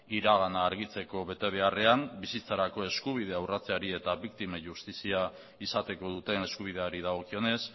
iragana argitzeko betebeharrean bizitzarako eskubidea urratzeari eta biktimen justizia izateko duten eskubideari dagokionez